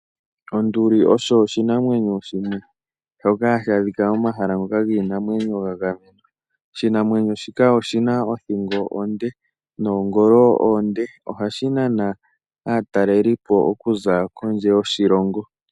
Onduli oshinanwenyo shoka hashi adhika momahala ngoka giinamwenyo ga gamenwa. Oshinanwenyo shika oshina othingo onde noongolo oonde ohashi nana aatalelipo okuza kondje yoshilongo.